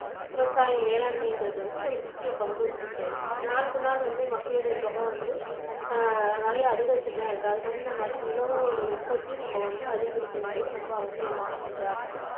விவசாய மேலாண்மைங்கறது வந்து ஒரு முக்கிய பங்கு வகிக்குது நாளுக்கு நாள் வந்து மக்களோட தொகை வந்து அஹ் நிறைய அதிகரிச்சுட்டுதான் இருக்கு அதுக்குத் தகுந்த மாதிரி உணவோட உற்பத்தியும் நம்ம வந்து அதிகரிக்க வேண்டியது ரொம்ப அவசியமான ஒன்றா இருக்கு